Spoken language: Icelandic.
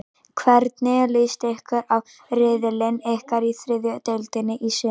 Hvernig list ykkur á riðilinn ykkar í þriðju deildinni í sumar?